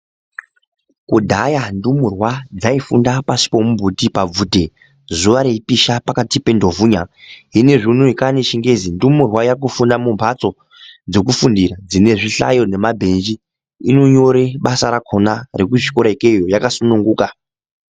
Kudhaya ndumurwa dzaifunda pasi pomumbuti pabvute zuva reipisha pakati penduvhuya. Hino iyezvi unowu kwaane chingezi, ndumurwa yakufunda mumhatso dzokufundira dzinezvihlayo nemabhenji, inonyore basa rakhona rekuchikora ikweyo yakasununguka.